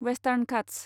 western Ghats